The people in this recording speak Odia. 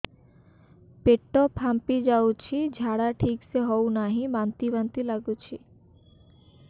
ପେଟ ଫାମ୍ପି ଯାଉଛି ଝାଡା ଠିକ ସେ ହଉନାହିଁ ବାନ୍ତି ବାନ୍ତି ଲଗୁଛି